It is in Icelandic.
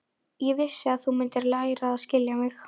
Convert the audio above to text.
Ég vissi að þú mundir læra að skilja mig.